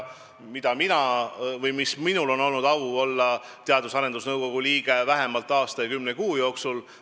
Minul on olnud au olla Teadus- ja Arendusnõukogu liige aasta ja kümne kuu jooksul.